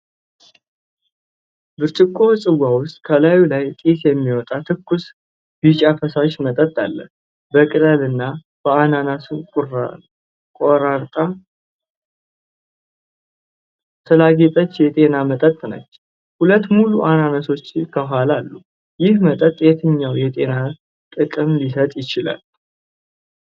ብርጭቆ ጽዋ ውስጥ ከላዩ ላይ ጢስ የሚያወጣ ትኩስ ቢጫ ፈሳሽ መጠጥ አለ። በቅጠልና በአናናስ ቆራርጣ ስላጌጠች የጤና መጠጥ ነች። ሁለት ሙሉ አናናሶች ከኋላ አሉ። ይህ መጠጥ የትኛውን የጤና ጥቅም ሊሰጥ ይችላል?